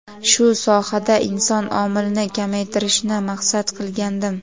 shu sohada inson omilini kamaytirishni maqsad qilgandim.